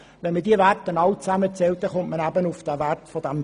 Zählt man diese Werte alle zusammen, kommt man auf den Faktor von 2,6.